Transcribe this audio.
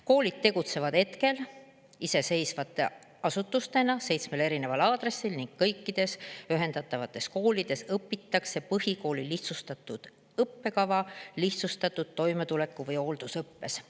Koolid tegutsevad hetkel iseseisvate asutustena seitsmel erineval aadressil ning kõikides ühendatavates koolides õpitakse põhikooli lihtsustatud õppekava, lihtsustatud toimetuleku või hooldusõppes.